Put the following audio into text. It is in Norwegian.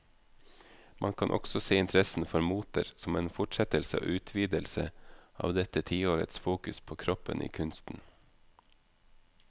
Man kan også se interessen for moter som en fortsettelse og utvidelse av dette tiårets fokus på kroppen i kunsten.